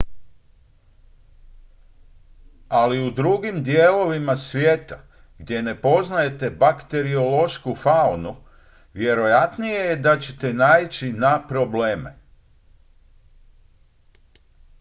ali u drugim dijelovima svijeta gdje ne poznajete bakteriološku faunu vjerojatnije je da ćete naići na probleme